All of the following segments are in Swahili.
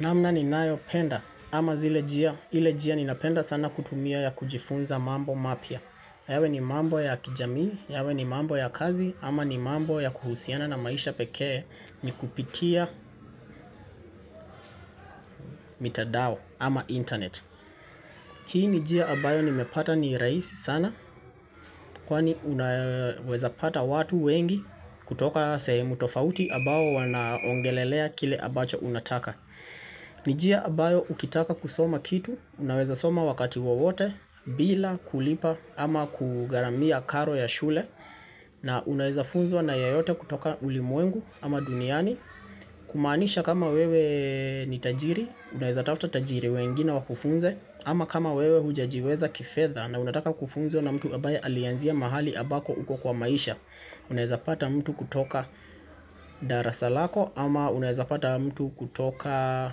Namna ni nayo penda ama zile njia. Ile jia ninapenda sana kutumia ya kujifunza mambo mapya. Yawe ni mambo ya kijamii, yawe ni mambo ya kazi ama ni mambo ya kuhusiana na maisha pekee ni kupitia mitadao ama internet. Hii ni njia ambayo nimepata ni rahisi sana kwani unaweza pata watu wengi kutoka semu tofauti ambao wanaongelelea kile ambacho unataka. Ni njia ambayo ukitaka kusoma kitu, unaweza soma wakati wowote bila kulipa ama kugaramia karo ya shule na unaweza funzwa na yoyote kutoka ulimwengu ama duniani Kumaanisha kama wewe ni tajiri, unaweza tafta tajiri wengine wakufunze ama kama wewe hujajiweza kifedhaa na unaweza kufunzwa na mtu ambaye alianzia mahali ambako uko kwa maisha Unaeza pata mtu kutoka darasa lako ama unaeza pata mtu kutoka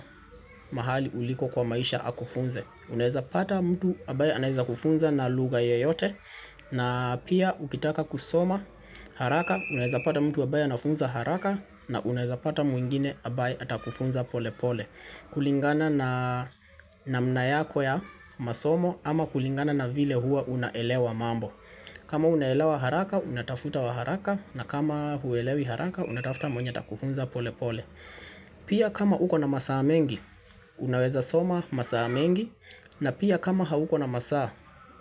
mahali uliko kwa maisha akufunze unaeza pata mtu ambaye anaeza kufunza na lugha yeyote na pia ukitaka kusoma haraka unaeza pata mtu ambaye anafunza haraka na unaeza pata mwingine ambaye atakufunza pole pole kulingana na namna yako ya masomo ama kulingana na vile hua unaelewa mambo kama unaelawa haraka unatafuta wa haraka na kama huelewi haraka unatafuta mwenye atakufunza pole pole Pia kama uko na masaa mengi unaweza soma masaa mengi na pia kama hauko na masaa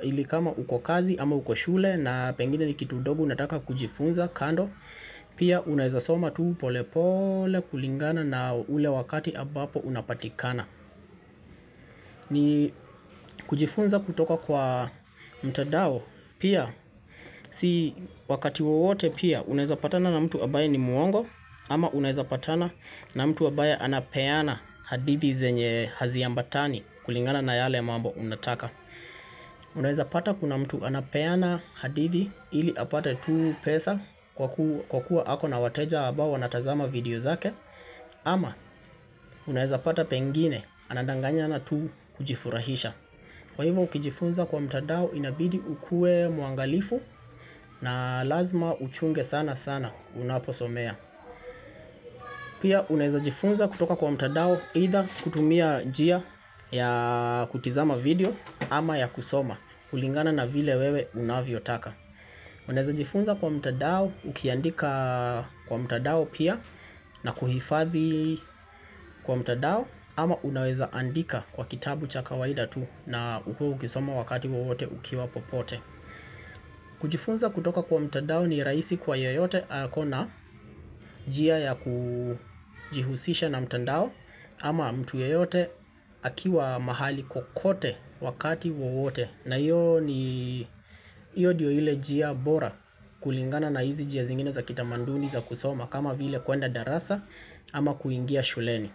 ili kama uko kazi ama uko shule na pengine ni kitu dobu unataka kujifunza kando Pia unaweza soma tuu pole pole kulingana na ule wakati ambapo unapatikana ni kujifunza kutoka kwa mtandao pia, si wakati wowote pia unaweza patana na mtu ambaye ni muongo ama unaweza patana na mtu ambaye anapeana hadithi zenye hazi ambatani kulingana na yale mambo unataka Unaweza pata kuna mtu anapeana hadithi ili apata tu pesa kwa ku kwa kuwa hako na wateja abawa na tazama video zake ama unaweza pata pengine anandanganya na tu kujifurahisha Kwa hivyo ukijifunza kwa mtandao inabidi ukuwe muangalifu na lazima uchunge sana sana unaposomea Pia unaweza jifunza kutoka kwa mtandao hida kutumia njia ya kutizama video ama ya kusoma kulingana na vile wewe unavyo taka Unaweza jifunza kwa mtadao ukiandika kwa mtadao pia na kuhifadhi kwa mtandao ama unaweza andika kwa kitabu cha kawaida tu na uwe ukisoma wakati wowote ukiwa popote kujifunza kutoka kwa mtandao ni rahisi kwa yoyote kuna njia ya kujihusisha na mtandao ama mtu yoyote akiwa mahali kukote wakati wawote na iyo ni iyo ndio ile njia bora kulingana na hizi njia zingine za kitamanduni za kusoma kama vile kuenda darasa ama kuingia shuleni.